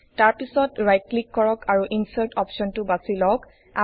তাৰ পিছত right click কৰক আৰু ইনচাৰ্ট অপশ্বনটো বাছি লওঁক